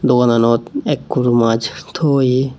dogananot ekkur mass to oye.